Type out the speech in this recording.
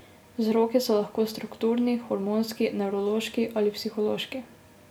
Vzroki so lahko strukturni, hormonski, nevrološki ali psihološki.